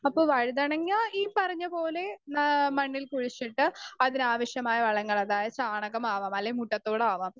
speaker 2 അപ്പൊ വഴുതനങ്ങ ഈ പറഞ്ഞപോലെ നാ മണ്ണിൽ കുഴിച്ചിട്ട് അതിനാവശ്യമായ വളങ്ങളതായത് ചാണകം ആവാം അല്ലെങ്കിൽ മുട്ടത്തോടാവാം